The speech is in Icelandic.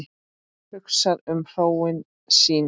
Hugsar um hróin sín.